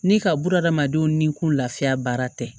Ni ka bun adamadenw ni kun lafiya baara tɛ